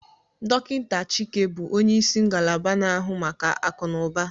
Dokịta Chike bụ onye isi ngalaba na-ahụ maka akụnụba.